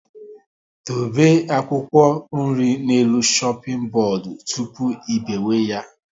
Dobe akwụkwọ nri n'elu shoping bodu tụpụ ị biwe ya